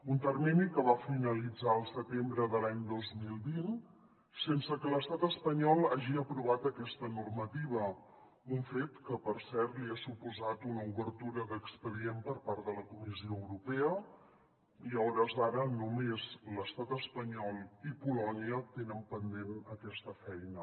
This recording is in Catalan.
un termini que va finalitzar el setembre de l’any dos mil vint sense que l’estat espanyol hagi aprovat aquesta normativa un fet que per cert li ha suposat una obertura d’expedient per part de la comissió europea i a ho·res d’ara només l’estat espanyol i polònia tenen pendent aquesta feina